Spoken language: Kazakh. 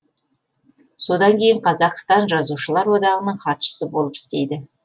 содан кейін қазақстан жазушылар одағының хатшысы болып істейді